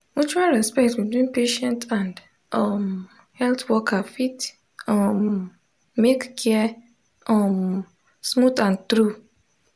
mutual respect between patient and um health worker fit um make care um smooth and true.